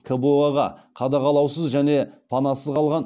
кбо ға қадағалаусыз және панасыз қалған